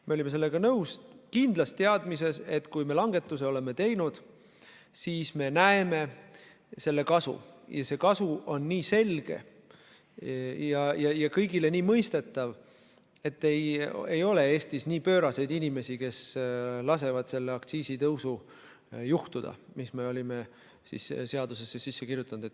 Me olime sellega nõus kindlas teadmises, et kui me langetuse oleme teinud, siis me näeme selle kasu, ja see kasu on nii selge ja kõigile nii mõistetav, et Eestis ei ole nii pööraseid inimesi, kes lasevad juhtuda sellel aktsiisitõusul, mis me olime siis seadusesse sisse kirjutanud.